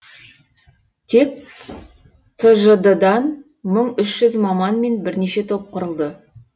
тек тжд дан мың үш жүз маман мен бірнеше топ құрылды